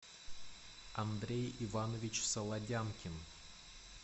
андрей иванович солодянкин